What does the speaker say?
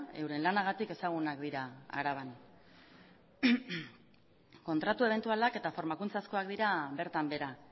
euren lanagatik ezagunak dira araban kontratu ebentualak eta formakuntzazkoak dira bertan behera